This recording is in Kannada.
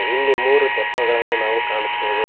ಇಲ್ಲಿ ಮೂರು ತೆಪ್ಪಗಳನ್ನು ನಾವು ಕಾಣುತ್ತೇವೆ.